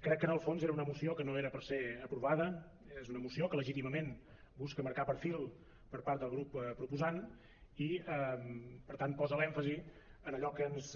crec que en el fons era una moció que no era per ser aprovada és una moció que legítimament busca marcar perfil per part del grup proposant i per tant posa l’èmfasi en allò que ens